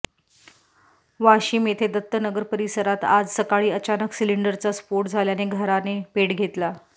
वाशिम येथे दत्तनगर परिसरात आज सकाळी अचानक सिलिंडरचा स्फोट झाल्याने घराने पेट घेतला